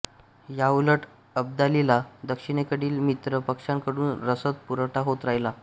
याउलट अब्दालीला दक्षिणेकडील मित्र पक्षांकडून रसद पुरवठा होत राहिला